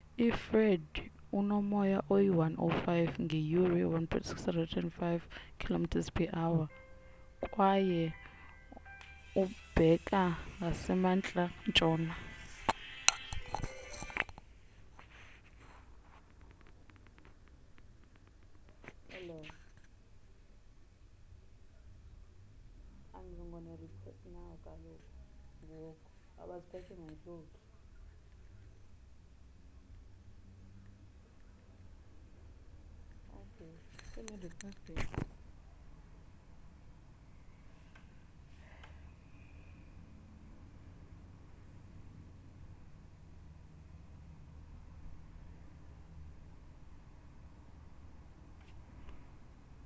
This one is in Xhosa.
ifred unomoya oyi-105 ngeyure 165km/h kwaye ubheka ngasemantla ntshona